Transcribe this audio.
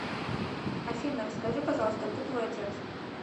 афина расскажи пожалуйста кто твой отец